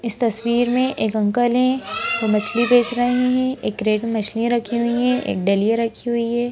इस तस्वीर में एक अंकल हैं वो मछली बेच रहे हैं एक क्रेट में मछलियाँ रखी हुई है एक डलिया रखी हुई है।